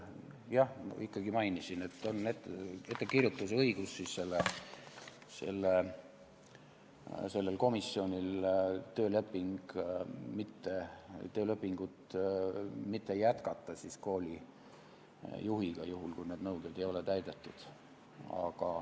Jah, ikkagi mainisin, et komisjonil on õigus teha ettekirjutus koolijuhi töölepingut mitte pikendada, kui need nõuded ei ole täidetud.